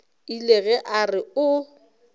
ile ge a re o